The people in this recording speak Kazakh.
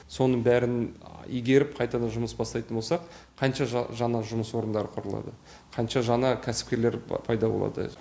соның бәрін игеріп қайтадан жұмыс бастайтын болсақ қанша жаңа жұмыс орындары құрылады қанша жаңа кәсіпкерлер пайда болады